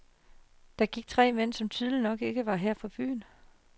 Der gik tre mænd, som tydeligt nok ikke var her fra byen.